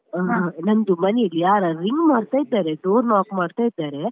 ನಂದು ಮನೆಯಲ್ಲಿ ಯಾರ ring ಮಾಡ್ತಾ ಇದ್ದಾರೆ door knock ಮಾಡ್ತ ಇದ್ದಾರೆ.